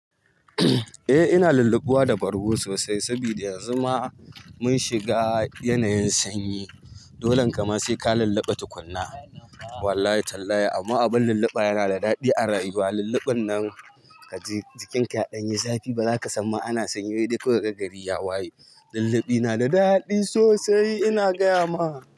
Eh ina lulluɓuwa da bargo sosai saboda yanzu ma mun shiga yanayin sanyi. Dolen kama sai ka lulluɓa tukunna. Wallahi tallahi amma abin lulluɓa yana da daɗi a rayuwa. Lulluɓin nan kaji jikin ka ya ɗan yi zafi baza ka samma ana sanyi ba sai dai kawai kaga gari. Waye? Lulluɓi nada daɗi sosai ina gaya ma.